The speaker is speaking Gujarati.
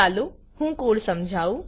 ચાલો હું કોડ સમજાઉ